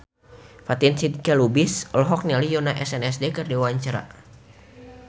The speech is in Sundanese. Fatin Shidqia Lubis olohok ningali Yoona SNSD keur diwawancara